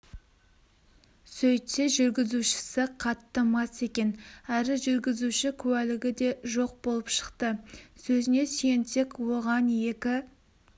сөйтсе жүргізушісі қатты мас екен әрі жүргізуші куәлігі де жоқ болып шықты сөзіне сүйенсек оған екі